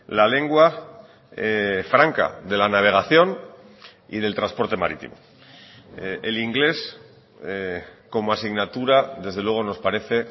la lengua franca de la navegación y del transporte marítimo el inglés como asignatura desde luego nos parece